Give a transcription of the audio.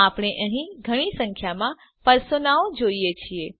આપણે અહીં ઘણી સંખ્યામાં પર્સોનાઓ જોઈએ છીએ